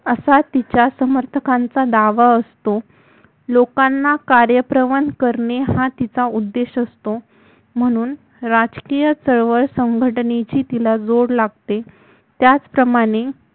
असा तिचा समर्थकांचा दावा असतो लोकांना कार्यप्रवन करणे हा तिचा उद्देश असतो म्हणून राष्ट्रीय चळवळ संघटेनेची तिला जोड लागते त्याचप्रमाणे